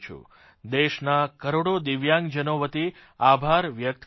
દેશના કરોડો દિવ્યાંગજનો વતી આભાર વ્યકત કરૂં છું